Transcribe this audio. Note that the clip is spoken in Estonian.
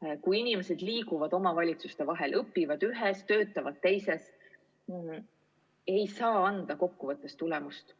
ei saa anda tulemust, kui inimesed liiguvad omavalitsuste vahel, elavad ühes, aga töötavad või õpivad teises.